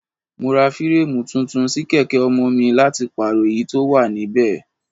Mo ra fireemu tuntun sí kèké ọmọ mi láti pàrọ èyí tó wà níbẹ̀.